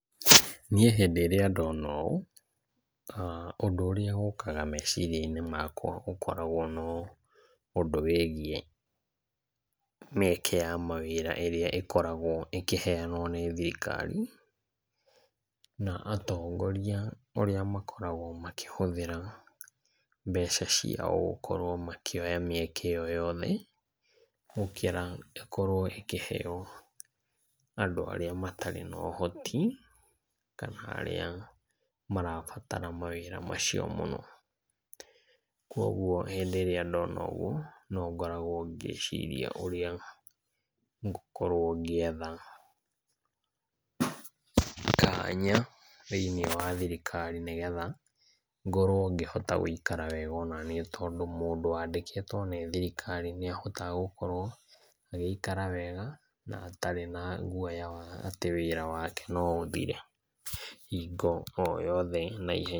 Niĩ hĩndĩ rĩa ndona ũũ, ũndũ ũrĩa ũkaga meciria inĩ makwa nĩ ũndũ wĩgiĩ mieke ya mawĩra ĩrĩa ĩkoragwo ĩkĩheanwo nĩ thirikari na atongoria ũrĩa makoragwo makĩhũthĩra mbeca ciao ciagũkorwo makĩoya mĩeke yothe ĩkorwo ĩkĩheo andũ arĩa matarĩ na ũhoti kana arĩa marabatara mawĩra macio mũno. Koguo rĩrĩa ndona ũguo nongorwo ngĩciria ngũkorwo ngĩetha kanya thĩiniĩ wa thirikari nĩgetha ngoro ngĩhota gũikara wega onaniĩ tondũ mũndũ wandĩkĩtwo nĩ thirikari nĩahotaga gũkorwo agĩikara wega na atarĩ na guoya wa wĩra wake no ũthire hingo oyothe na ihenya.